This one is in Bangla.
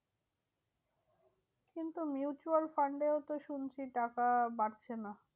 কিন্তু mutual fund এও তো শুনছি টাকা বাড়ছে না।